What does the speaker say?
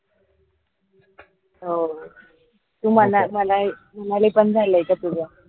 तो तू मनाली मनाली पन झालय का तुझं?